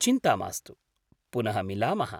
चिन्ता मास्तु। पुनः मिलामः!